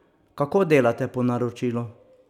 Kako delate po naročilu?